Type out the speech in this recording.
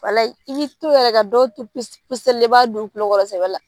Walaye i to yɛrɛ ka dɔw to puse puseli la i b'a da u kulo kɔrɔ de sɛbɛbɛ la